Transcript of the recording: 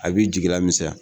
A b'i jigila misɛnya